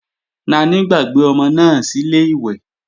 Naní gbàgbé ọmọ náà sílè ìwẹ̀